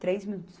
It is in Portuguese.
Três minutos